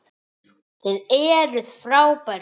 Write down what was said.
Þið eruð frábær þjóð!